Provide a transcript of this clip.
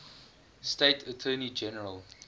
state attorney general